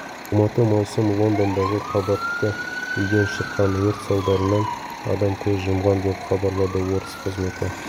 алматы маусым лондондағы қабатты үйден шыққан өрт салдарынан адам көз жұмған деп хабарлады орыс қызметі